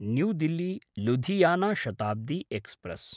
new दिल्ली–लुधियाना Shatabdi express